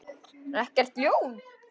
Ekkert ljón.